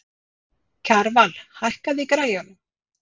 Kjarval, hækkaðu í græjunum.